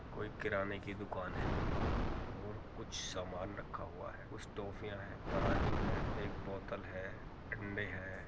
कोई किराने की दुकान है और कुछ सामान रखा हुआ है। कुछ टॉफियां हैं। तराजू है। एक बोतल है। अंडे हैं।